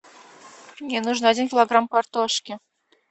мне нужен один килограмм картошки